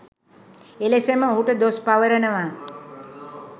එලෙසම ඔහුට දොස් පවරනවා